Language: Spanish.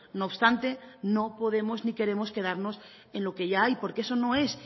no obstante no podemos ni queremos quedarnos en lo que ya hay porque eso no es